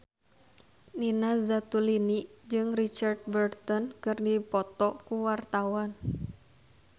Nina Zatulini jeung Richard Burton keur dipoto ku wartawan